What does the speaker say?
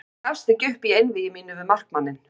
Ég gafst ekki upp í einvígi mínu við markmanninn.